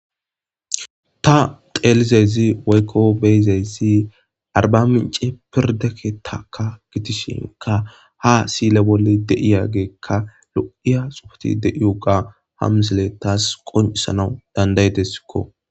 Ta xeelizazi woykko beyizayssi arba mince pirdake taka gitishinka ha siile bolle de7iyageekka lo7iya sopoti dei uga ham sile taas qunisanau dandaytesikko